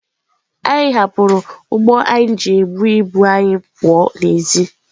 anyị hapụrụ ụgbọ anyị ji ebu ibu anyị pụọ n'èzí.